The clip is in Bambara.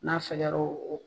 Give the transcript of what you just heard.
N'a sɛgɛro